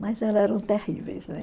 Mas elas eram terríveis, né?